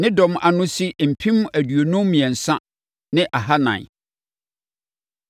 Ne dɔm ano si mpem aduonum mmiɛnsa ne ahanan (53,400).